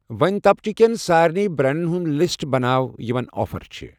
وٕنۍ تبقہ کٮ۪ن سارنی بریٚنڑن ہُنٛد لسٹ بناو یِمَن آفر چھِ ۔